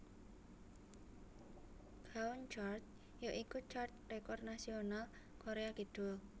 Gaon Chart ya iku chart rekor nasional Koréa Kidul